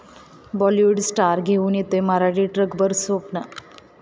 Bollywood star घेऊन येतोय मराठी 'ट्रकभर स्वप्न'